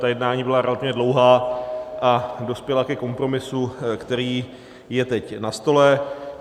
Ta jednání byla relativně dlouhá a dospěla ke kompromisu, který je teď na stole.